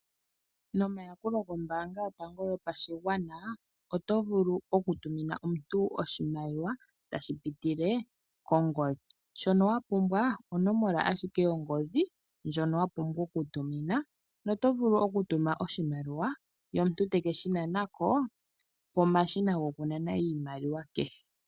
Nomayakulo gombaanga yotango yopashigwana oto vulu okutumina omuntu oshimaliwa tashipitile kongodhi. Shono wapumbwa onomola ashike yongodhi ndjono wapumbwa okutumina , oto vulu okutuma oshimaliwa ye omuntu tekeshi nana ko pomashina gokunana iimaliwa kehe.